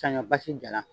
Saɲɔ basi jala